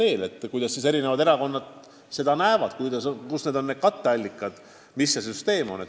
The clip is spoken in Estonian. On huvitav, kuidas eri erakonnad seda lahendust näevad: mis võiks olla katteallikad ja milline võiks üldse kogu süsteem olla.